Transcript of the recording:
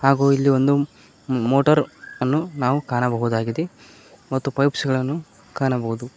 ಹಾಗು ಇಲ್ಲಿ ಒಂದು ಮೋಟಾರ್ ಅನ್ನು ನಾವು ಕಾಣಬಹುದಾಗಿದೆ ಮತ್ತು ಪೈಪ್ಸ್ ಗಳನ್ನು ನಾವು ಕಾಣಬಹುದು.